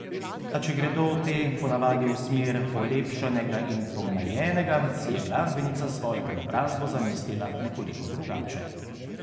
A če gredo te ponavadi v smer polepšanega in pomlajenega, si je glasbenica svojo preobrazbo zamislila nekoliko drugače.